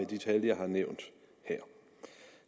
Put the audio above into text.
de tal jeg har nævnt her